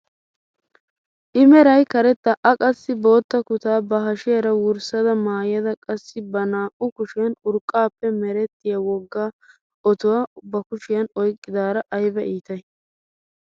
i meray karetta a qassi bootta kutaa ba hashiyaara wurssada maayada qassi ba naa"u kushiyaan urqqaappe merettiyaa wogga otuwaa ba kushiyaan oyqqidaara ayba iitay!